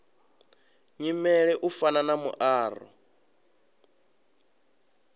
nyimele u fana na muaro